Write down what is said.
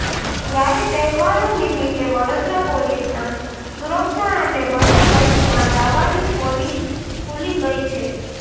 ત્યારે તહેવારો નિમિત્તે વડોદરા પોલીસના સુરક્ષા અને બંદોબસ્તના દાવાની પોલી ખુલી ગઈ છે